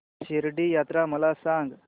शिर्डी यात्रा मला सांग